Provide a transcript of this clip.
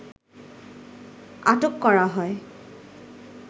আটক করা হয়